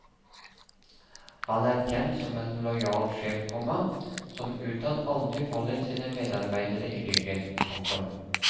Han er kjent som en lojal sjef, komma som utad aldri faller sine medarbeidere i ryggen. punktum